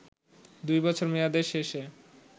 ২ বছর মেয়াদ শেষে